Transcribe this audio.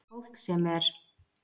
Fólk sem er